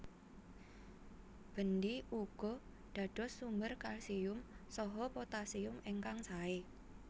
Bendi ugi dados sumber kalsium saha potassium ingkang sae